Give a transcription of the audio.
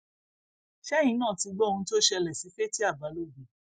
ṣẹyìn náà ti gbọ ohun tó ṣẹlẹ sí fatia balógun